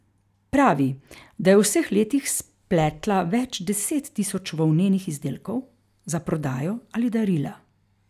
Pravi, da je v vseh letih spletla več deset tisoč volnenih izdelkov, za prodajo ali darila.